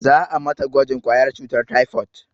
Za a mata gwajin ƙwayar cutar taifot